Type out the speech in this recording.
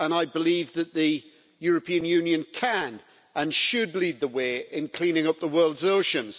I believe that the European Union can and should lead the way in cleaning up the world's oceans.